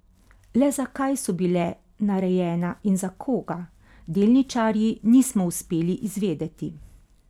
Le zakaj so bile narejena in za koga, delničarji nismo uspeli izvedeti?